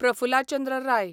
Prafulla Chandra Rai